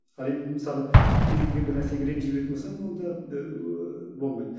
ал енді мысалы кез келген бір нәрсеге ренжи беретін болсаң онда ыыы болмайды